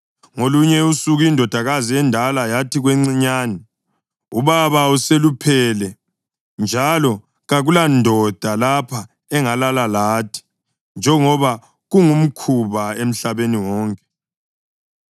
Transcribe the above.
Ngolunye usuku indodakazi endala yathi kwencinyane, “Ubaba useluphele, njalo kakulandoda lapha engalala lathi, njengoba kungumkhuba emhlabeni wonke.